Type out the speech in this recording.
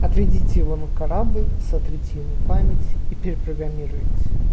отведите его на корабль сотрите ему память и перепрограммируйте